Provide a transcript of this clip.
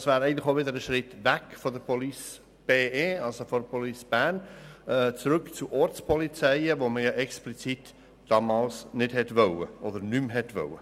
Das wäre auch wieder ein Schritt weg von der Police Bern zurück zu den Ortspolizeien, die man damals explizit nicht mehr wollte.